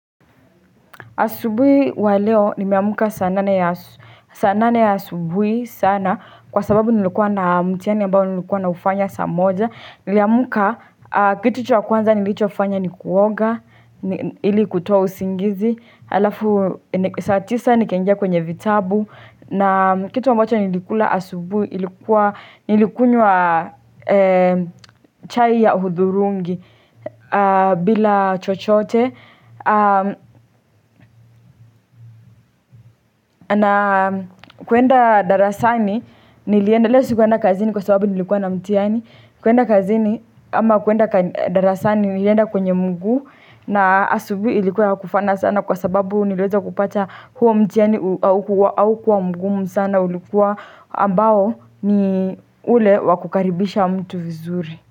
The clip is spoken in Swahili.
Asubui wa leo nimeamka saa nane ya asubuhi sana kwa sababu nilikuwa na mtihani ambao nilikuwa naufanya saa moja. Niliamka kitu cha kwanza nilichofanya ni kuoga, ili kutoa usingizi, alafu saa tisa nikaingia kwenye vitabu. Na kitu ambacho nilikula asubuhi ilikuwa, nilikunywa chai ya hudhurungi bila chochote na kuenda darasani nilienda, leo sikuenda kazini kwa sababu nilikuwa na mtihani. Kuenda kazini ama kuenda darasani nilienda kwenye mguu na asubuhi ilikuwa ya kufana sana kwa sababu niliweza kupata huo mtihani haukuwa mgumu sana, ulikuwa ambao ni ule wa kukaribisha mtu vizuri.